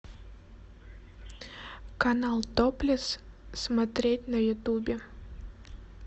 канал топлес смотреть на ютубе